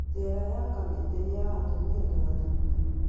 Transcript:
Jera ya Kamiti nĩ ya atumia na athuuri.